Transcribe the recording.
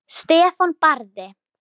Stefán Barði.